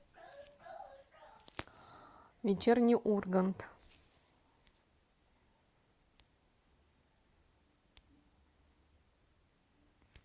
вечерний ургант